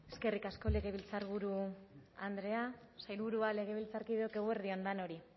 eskerrik asko legebiltzarburu andrea sailburua legebiltzarkideok eguerdi on denori